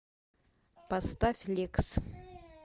поставь лекс